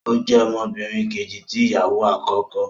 O jẹ ọmọbìnrin Kejì tí ìyàwó akọkọ